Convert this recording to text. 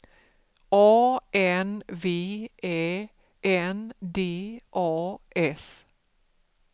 A N V Ä N D A S